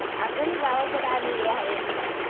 अगं मी गावाकडे आलेली आहे.